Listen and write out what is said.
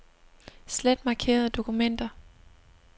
Slet markerede dokumenter.